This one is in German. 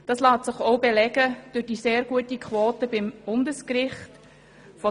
Dies lässt sich auch durch die sehr gute Quote beim Bundesgericht belegen.